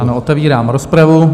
Ano, otevírám rozpravu.